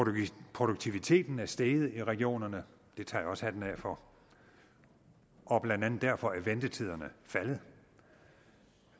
produktiviteten er steget i regionerne det tager jeg også hatten af for og blandt andet derfor er ventetiderne faldet og